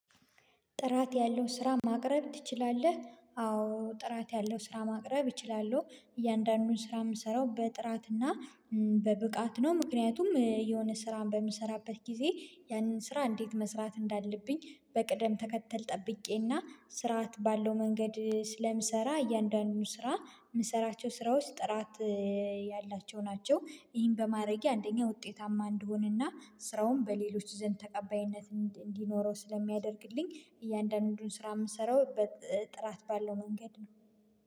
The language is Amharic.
ጥራት ያለው ስራ ማቅረብ ትችላለህ? አዎ ጥራት ያለው ስራ ማቅረብ እችላለሁ። እያንዳንዱን ስራ የምሰራው በጥራትና በብቃት ነው ምክንያቱም የሆነ ስራን በምሰራበት ጊዜ ያንን ስራ እንዴት መስራት እንዳለብኝ በቅደም ተከተል ጠብቄና ስርዓት ባለው መንገድ ስለምሰራ እያንዳንዱን ስራ የምሰራቸው ስራ ውስጥ ጥራት ያላቸው ናቸው። ይህን በማድረጌ አንደኛ ውጤታማ እንደሆነና ስራውን በሌሎች ዘንድ ተቀባይነት እንዲኖረው ስለሚያደርግልኝ እያንዳንዱን ስራ የምሰራው ጥራት ባለው መንገድ ነው